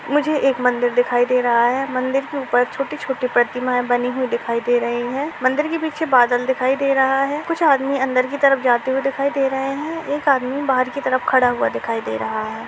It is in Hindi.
मुझे एक मंदिर दिखाई दे रहा है। मंदिर के ऊपर छोटे छोटी प्रतिमाए बनी हुई दिखाई दे रही है। मंदिर के पीछे बादल दिखाई दे रहा है। कुछ आदमी अंदर की तरफ जाते हुए दिखाई दे रहे हैं। एक आदमी बाहर की तरफ खड़ा हुआ दिखाई दे रहा है।